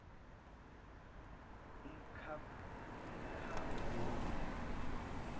umkhambule